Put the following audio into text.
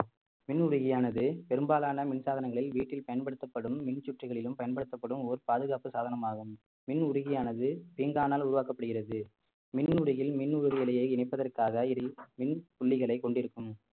மின் உருகியானது பெரும்பாலான மின்சாதனங்களில் வீட்டில் பயன்படுத்தப்படும் மின் சுற்றுகளிலும் பயன்படுத்தப்படும் ஓர் பாதுகாப்பு சாதனமாகும் மின் உருகியானது பீங்கானால் உருவாக்கப்படுகிறது மின் உருகில் மின் உருதலையை இணைப்பதற்காக இதில் மின் புள்ளிகளை கொண்டிருக்கும்